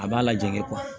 A b'a lajɛ